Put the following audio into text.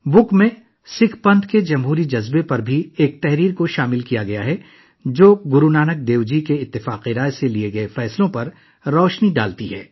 کتاب میں سکھ پنتھ کے جمہوری جذبے پر ایک مضمون بھی شامل کیا گیا ہے جو گرو نانک دیو جی کے اتفاق رائے سے لیے گئے فیصلوں پر روشنی ڈالتا ہے